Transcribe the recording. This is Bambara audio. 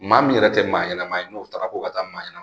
Maa min yɛrɛ tɛ maa ɲɛnɛma ye n'o taara ko ka taa maa ye